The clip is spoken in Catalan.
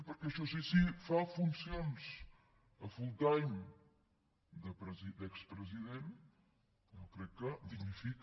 perquè això sí si fa funcions a full time d’expresident jo crec que dignifica